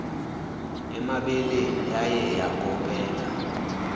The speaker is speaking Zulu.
emabeleni yaye yakopela